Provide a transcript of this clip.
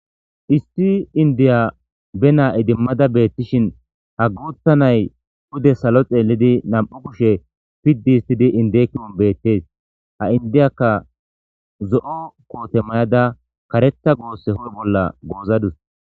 isti indiya be naa idimmada beettishin ha guutta nay oude salo xeellidi nam'u kushe piddi histidi indeekinon beettees ha indiyakka zo'o koote mayada kareta goosse huphe bolla goozadus